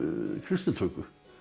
kristnitöku